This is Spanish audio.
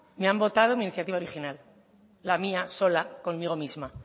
me han votado mi iniciativa original la mía sola conmigo misma